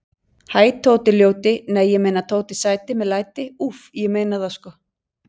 Hæ Tóti ljóti, nei ég meina Tóti sæti með læti, Úff, ég meina það sko.